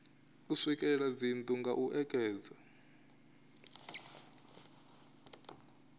swikelela dzinnu nga u ekedza